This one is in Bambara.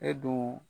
E dun